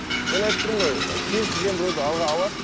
мен айтып тұрмын ғой ы кез келген біреуді алады